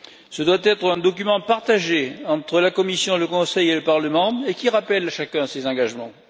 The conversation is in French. Ce doit être un document partagé entre la Commission, le Conseil et le Parlement et qui rappelle chacun à ses engagements.